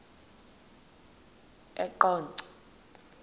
eqonco